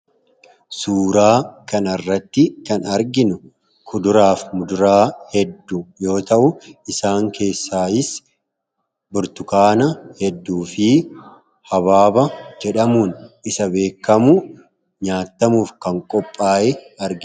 Suuraa kanarratti kan arginu kuduraaf muduraa hedduu yoo ta’u, isaan keessaas Burtukaana hedduu fi Habaaba jedhamuun isa beekamu nyaatamuuf kan qophaa'e argina.